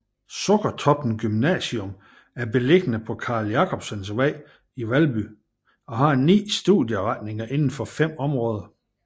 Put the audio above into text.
Sukkertoppen Gymnasium er beliggende på Carl Jacobsens Vej i Valby og har ni studieretninger inden for fem områder